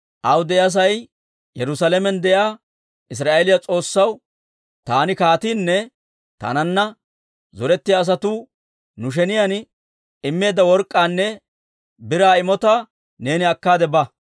Aw de'iyaa sa'ay Yerusaalamen de'iyaa Israa'eeliyaa S'oossaw, taani kaatiinne taananna zorettiyaa asatuu nu sheniyaan immeedda work'k'aanne biraa imotatuwaa neeni akkaade ba.